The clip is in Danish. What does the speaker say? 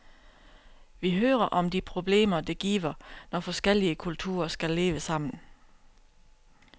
Vi hører om de problemer, det giver, når forskellige kulturer skal leve sammen.